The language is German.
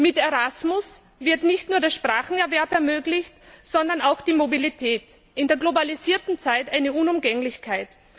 Mit Erasmus wird nicht nur der Sprachenerwerb ermöglicht, sondern auch die Mobilität in der globalisierten Zeit eine Unumgänglichkeit.